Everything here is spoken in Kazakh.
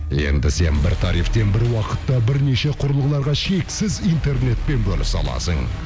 енді сен бір тарифтен бір уақытта бірнеше құрылғыларға шексіз интернетпен бөлісе аласың